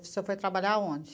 Você foi trabalhar aonde?